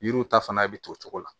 Yiriw ta fana bɛ to o cogo la